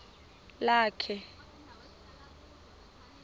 lakhe